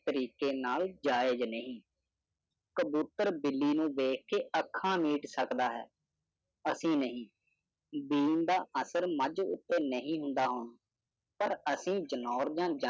ਤਰੀਕੇ ਨਾਲ ਜਾਇਜ਼ ਨਹੀਂ ਕਬੂਤਰ ਬਿੱਲੀ ਨੂੰ ਵੇਖ ਅੱਖਾਂ ਨੂੰ ਮੀਟ ਸਕਦਾ ਹੈ ਅਸੀਂ ਨਹੀਂ ਖਾਤਿਰ ਮਜ ਉਤੇ ਨਹੀਂ ਹੁੰਦਾ ਹੁਣ ਪਾਰ ਅਸੀਂ ਜਨੌਰਦਨ